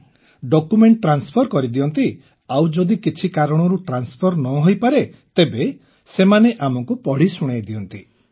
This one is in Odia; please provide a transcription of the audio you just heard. ଆଜ୍ଞା ଡକ୍ୟୁମେଣ୍ଟ ଟ୍ରାନ୍ସଫର କରିଦିଅନ୍ତି ଆଉ ଯଦି କିଛି କାରଣରୁ ଟ୍ରାନ୍ସଫର ନ ହୋଇପାରେ ତେବେ ସେମାନେ ଆମକୁ ପଢ଼ି ଶୁଣାଇଦିଅନ୍ତି